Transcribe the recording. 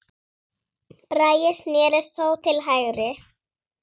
Bragi snérist þó til hægri.